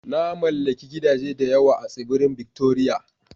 Na mallaki gidaje da yawa a Tsibirin Victoria